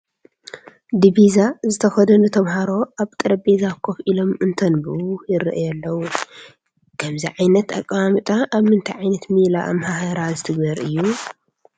ዲቢዛ ዝተከደኑ ተመሃሮ ኣብ ጠረጴዛ ኮፍ ኢሎም እንተንብቡ ይርአዩ ኣለዉ፡፡ ከምዚ ዓይነት ኣቀማምጣ ኣብ ምንታይ ዓይነት ሜላ ኣመሃህራ ዝትግበር እዩ?